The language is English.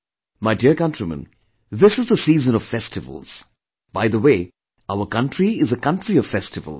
My Dear countrymen, this is the season of festivals, by the way our country is a country of festivals